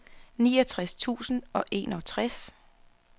niogtres tusind og enogtres